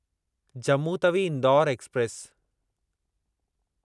Jammu Tawi Indore express